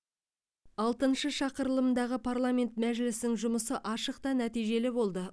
алтыншы шақырылымдағы парламент мәжілісінің жұмысы ашық та нәтижелі болды